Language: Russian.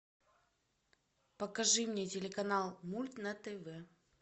покажи мне телеканал мульт на тв